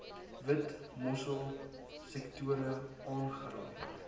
witmossel sektore aangeraai